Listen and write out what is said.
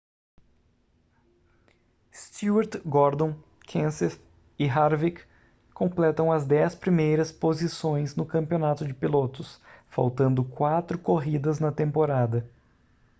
stewart gordon kenseth e harvick completam as dez primeiras posições no campeonato de pilotos faltando quatro corridas na temporada